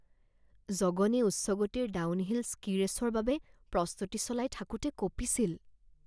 জগনে উচ্চ গতিৰ downhill ski ৰেচৰ বাবে প্ৰস্তুতি চলাই থাকোঁতে কঁপিছিল